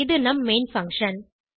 இது நம் main function